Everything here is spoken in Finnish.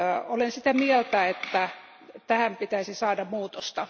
Olen sitä mieltä, että tähän pitäisi saada muutosta.